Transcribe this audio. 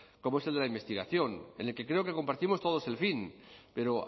como es el de la investigación en el que creo que compartimos todos el fin pero